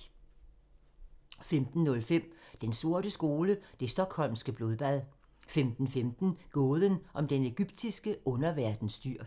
15:05: Den sorte skole: Det Stockholmske Blodbad 15:15: Gåden om den egyptiske underverdens dyr